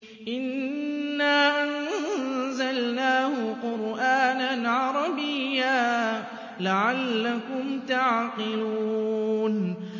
إِنَّا أَنزَلْنَاهُ قُرْآنًا عَرَبِيًّا لَّعَلَّكُمْ تَعْقِلُونَ